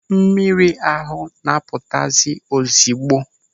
Mmiri ahụ na-apụtazi ozigbo.